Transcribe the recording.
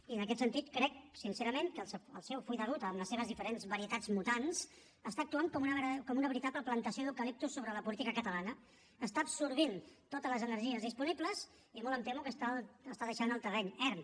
i en aquest sentit crec sincerament que el seu full de ruta amb les seves diferents varietats mutants està actuant com una veritable plantació d’eucaliptus sobre la política catalana està absorbint totes les energies disponibles i molt em temo que està deixant el terreny erm